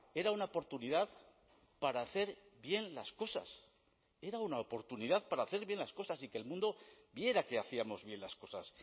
era una oportunidad para hacer bien las cosas era una oportunidad para hacer bien las cosas y que el mundo viera que hacíamos bien las cosas